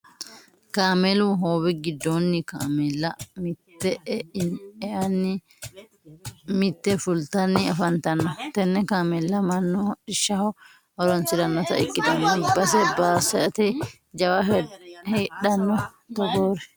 Kaameelu hoowe giddoni kaameella mite eani mite fultanni afantanno tene kaameella mannu hodhishshaho horonsiranotta ikkittanna base basete jawa heedhano togoori.